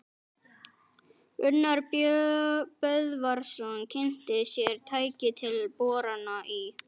Gunnar Böðvarsson kynnti sér tæki til borana í